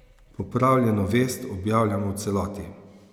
Popravljeno vest objavljamo v celoti.